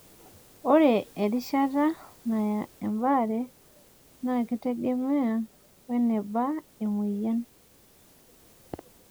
ore erishata naya ebaare naa kitegemea we neba emoyian